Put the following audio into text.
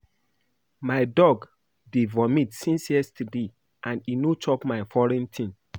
My dog dey vomit since yesterday and e no chop any foreign thing